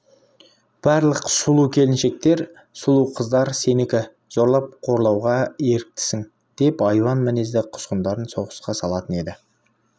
барлық сұлу келіншектер сұлу қыздар сенікі зорлап қорлауға еріктісің деп айуан мінезді құзғындарын соғысқа салатын еді